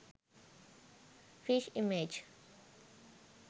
fish image